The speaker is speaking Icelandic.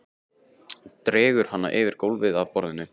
Dregur hana yfir gólfið að borðinu.